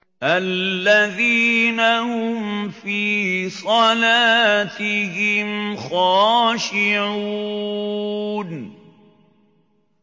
الَّذِينَ هُمْ فِي صَلَاتِهِمْ خَاشِعُونَ